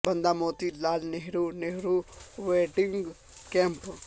بندہ Moti Lal Nehru Nehru wedding camp